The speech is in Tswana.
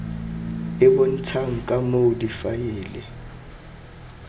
e bontshang ka moo difaele